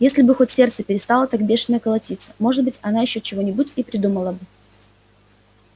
если бы хоть сердце перестало так бешено колотиться может быть она ещё чего-нибудь и придумала бы